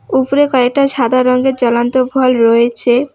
উপরে কয়েকটা সাদা রঙের জ্বলন্ত ভল রয়েছে।